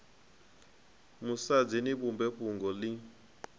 musadzi ni vhumbe fhungo ḽi